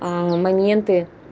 моменты